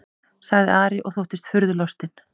sagði Ari og þóttist furðulostinn.